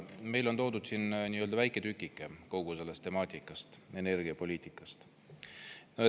Meile on toodud siin väike tükike kogu sellest temaatikast, energiapoliitikast.